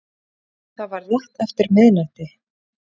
Það var rétt eftir miðnætti